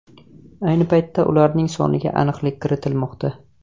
Ayni paytda ularning soniga aniqlik kiritilmoqda.